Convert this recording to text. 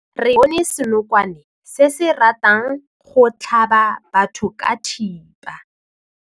Re bone senokwane se se ratang go tlhaba batho ka thipa.